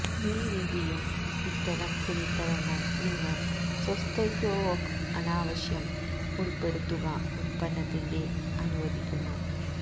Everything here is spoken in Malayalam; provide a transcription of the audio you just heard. മീ വീതിയും ഇത്തരം തുണിത്തരങ്ങൾ നിങ്ങൾ സൊസ്ത്യ്കൊവൊക് അനാവശ്യവും ഉള്പെടുത്തുക ഉൽപ്പന്നത്തിന്റെ അനുവദിക്കുന്നു